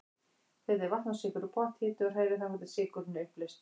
Setjið vatn og sykur í pott, hitið og hrærið þangað til sykurinn er uppleystur.